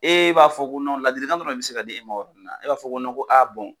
E b'a fɔ ko ladilikan dɔrɔn de bɛ se ka di e ma o yɔrɔ nina e b'a fɔ ko ko aa